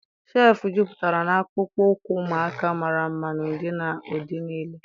shelf jupụtara na akpụkpọ ụkwụ ụmụaka mara mma n'ụdị na ụdị niile.